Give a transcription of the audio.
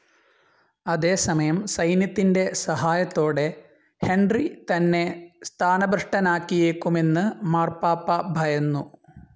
അതേസമയം, സൈന്യത്തിന്റെ സഹായത്തോടെ ഹെൻറി തന്നെ സ്ഥാനഭ്രഷ്ടനാക്കിയേക്കുമെന്ന് മാർപ്പാപ്പാ ഭയന്നു.